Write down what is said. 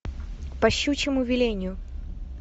по щучьему велению